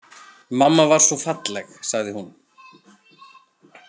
Mamma var svo falleg, sagði hún.